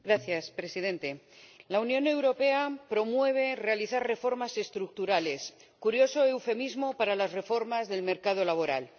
Señor Presidente, la Unión Europea promueve realizar reformas estructurales, curioso eufemismo para las reformas del mercado laboral.